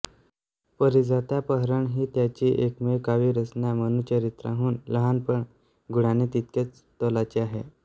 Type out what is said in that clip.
पारिजातापहरण ही त्याची एकमेव काव्यरचना मनुचरित्राहून लहान पण गुणाने तितक्याच तोलाची आहे